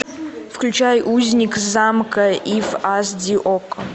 включай узник замка иф аш ди окко